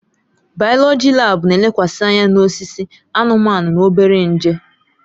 Bayoloji laabu na-elekwasị anya na osisi, anụmanụ na obere nje.